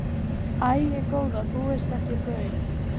Æi góða þú veist ekki baun.